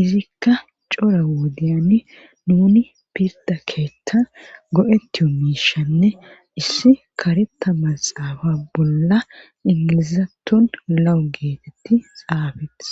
izikka cora wodiyani nuni pirda keethta go7etiyu miishanne issi kareta maxaafa bolla ingilizaton lawu geetetti xaafetes